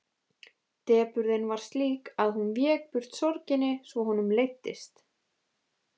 Depurðin var slík að hún vék burt sorginni svo honum leiddist.